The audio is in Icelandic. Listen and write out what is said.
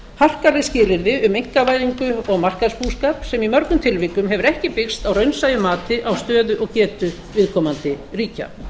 harkaleg skilyrði um einkavæðingu og markaðsbúskap sem í mörgum tilvikum hefur ekki byggst á raunsæju mati á stöðu og getu viðkomandi ríkja